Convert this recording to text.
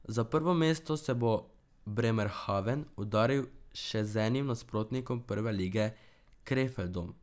Za prvo mesto se bo Bremerhaven udaril še z enim nasprotnikom prve lige Krefeldom.